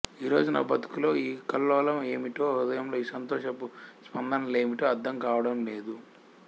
ఈ రోజు నా బ్రతుకులో ఈ కల్లోలం యేమిటో హృదయంలో ఈ సంతోషపు స్పందనలేమిటో అర్థం కావడం లేదు